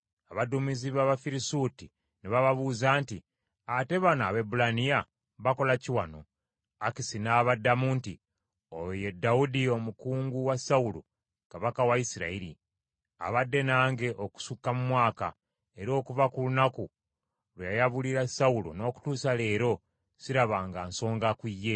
Abaduumizi b’Abafirisuuti ne babuuza nti, “Ate bano Abaebbulaniya bakola ki wano?” Akisi n’abaddamu nti, “Oyo ye Dawudi, omukungu wa Sawulo kabaka wa Isirayiri. Abadde nange okusukka mu mwaka, era okuva ku lunaku lwe yayabulira Sawulo n’okutuusa leero, sirabanga nsonga ku ye.”